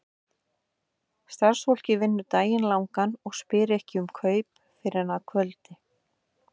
Starfsfólkið vinnur daginn langan og spyr ekki um kaup fyrr en að kvöldi.